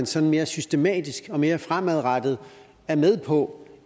sådan mere systematisk og mere fremadrettet er med på